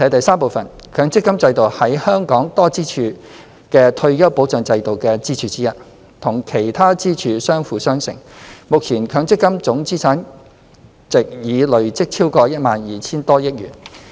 三強積金制度是本港多支柱的退休保障制度的支柱之一，與其他支柱相輔相成，目前強積金總資產值已累積超過 12,000 億元。